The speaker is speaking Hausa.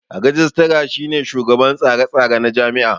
Rajistira shine shugaban tsare tsare na jami'a